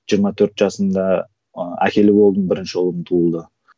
жиырма төрт жасымда ыыы әкелі болдым бірінші ұлым туылды